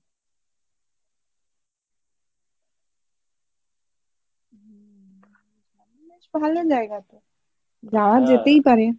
সামান্য জায়গা তো যায় যেতেই পারে